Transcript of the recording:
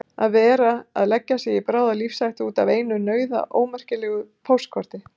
Að vera að leggja sig í bráða lífshættu út af einu nauðaómerkilegu póstkorti!